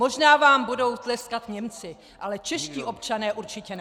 Možná vám budou tleskat Němci, ale čeští občané určitě ne.